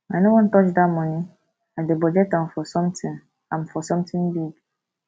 i no wan touch dat money i dey budget am for something am for something big